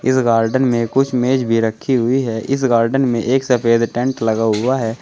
इस गार्डन में कुछ मेज़ भी रखी हुई है इस गार्डन में एक सफेद टेंट लगा हुआ है।